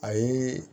Ayi